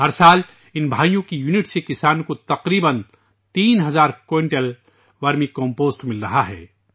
ہر سال کسانوں کو ان بھائیوں کی اکائیوں سے تقریبا تین ہزار کوئنٹل ورمی کمپوسٹ مل رہا ہے